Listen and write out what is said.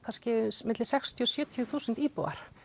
á milli sextíu og sjötíu þúsund íbúa